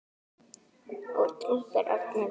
og drúpir örn yfir.